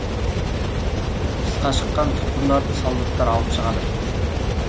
тысқа шыққан тұтқындарды солдаттар алып шығады